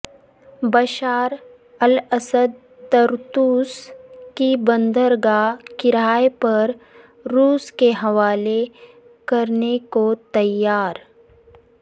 Bashar al Assad Tartus کی بندرگاہ کرائے پر روس کے حوالے کرنے کو تیار